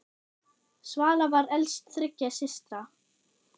Svala var elst þriggja systra.